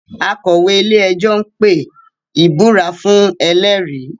Akọ̀wé-ilé-ẹjọ́ ń pe ìbúra fuhn ẹlẹ́rìí